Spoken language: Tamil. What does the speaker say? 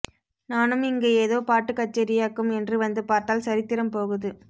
நானும் இங்க ஏதோ பாட்டுக்கச்சேரியாக்கும் என்று வந்து பார்த்தால் சரித்திரம் போகுது